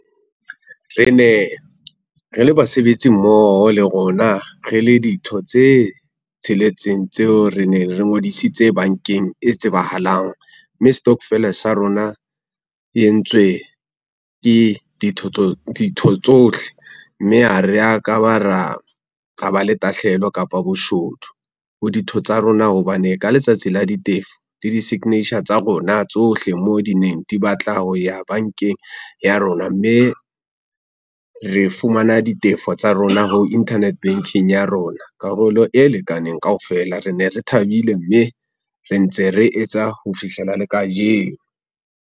Re ne re le basebetsi mmoho le rona re le ditho tse tsheletseng tseo re ne re ngodisitse bankeng e tsebahalang, mme stokofele sa rona e entswe ke ditho tsohle mme ha re ya kaba ra ba le tahlehelo kapa boshodu ho ditho tsa rona hobane ka letsatsi la ditefo le di-signature tsa rona tsohle mo di neng di batla ho ya bankeng ya rona. Mme re fumana ditefo tsa rona ho internet banking ya rona karolo e lekaneng kaofela re ne re thabile, mme re ntse re etsa ho fihlela le kajeno.